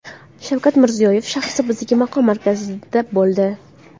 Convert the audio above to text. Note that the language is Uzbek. Shavkat Mirziyoyev Shahrisabzdagi maqom markazida bo‘ldi.